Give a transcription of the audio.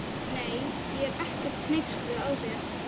Nei, ég er ekkert hneyksluð á þér.